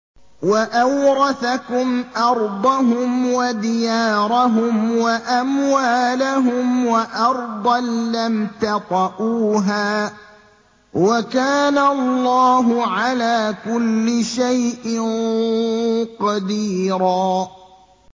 وَأَوْرَثَكُمْ أَرْضَهُمْ وَدِيَارَهُمْ وَأَمْوَالَهُمْ وَأَرْضًا لَّمْ تَطَئُوهَا ۚ وَكَانَ اللَّهُ عَلَىٰ كُلِّ شَيْءٍ قَدِيرًا